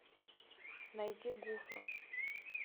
найди гуфа